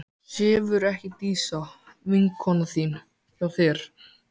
Sefur ekki Dísa, vinkona þín, hjá þér?